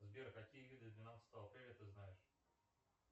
сбер какие виды двенадцатого апреля ты знаешь